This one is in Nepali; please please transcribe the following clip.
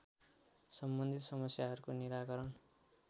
सम्बन्धित समस्याहरूको निराकरण